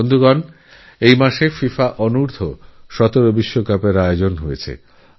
বন্ধুরা এইমাসেই FIFA Under17 World Cup আয়োজিত হয়েছে